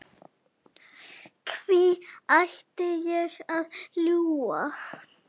Hví ætti ég að ljúga?